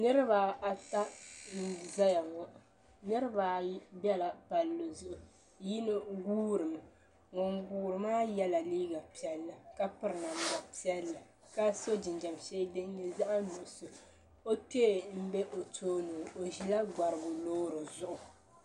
Niriba ata n zaya ŋɔ niriba ayi bɛla palli zuɣu yino guuri mi ŋun guuri maa yɛla liiga piɛlli ka piri namda piɛlli ka so jinjam sheli din nyɛ zaɣa nuɣusu o kpee n bɛ o tooni o ʒila gbarigu loori zuɣu.